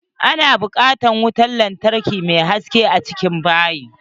A na bukatan wutan lantarki mai haske a cikin bayi.